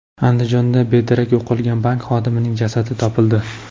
Andijonda bedarak yo‘qolgan bank xodimining jasadi topildi.